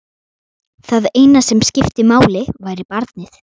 Það eina sem skipti máli væri barnið.